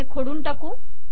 हे खोडून टाकू